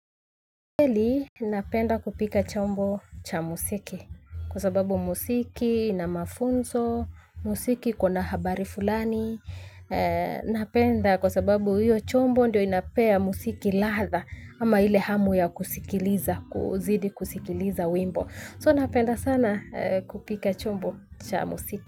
Hili napenda kupika chombo cha musiki kwa sababu musiki ina mafunzo, musiki iko na habari fulani. Napenda kwa sababu hiyo chombo ndio inapea musiki latha ama ile hamu ya kusikiliza, kuzidi kusikiliza wimbo. So napenda sana kupika chombo cha musiki.